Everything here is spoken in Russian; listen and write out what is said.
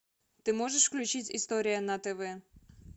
ты можешь включить история на тв